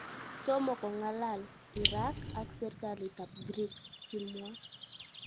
Tomo kong'alal. Iran ak Serkalit ap Greek, kimwaa.